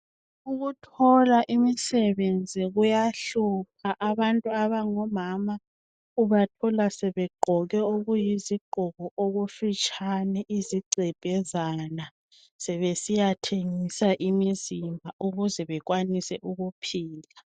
Ukuthola imisebenzi kuyahlupha abantu abangomama ubathola sebegqoke okuyizigqoko okufitshane zigcebhezana sebesiyathengisa imizimba ukuze bekwanise ukuphila.